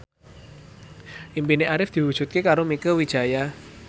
impine Arif diwujudke karo Mieke Wijaya